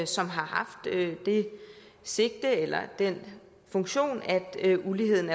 som har haft det sigte eller den funktion at uligheden